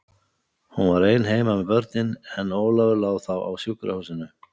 Hún var ein heima með börnin, en Ólafur lá þá á sjúkrahúsinu.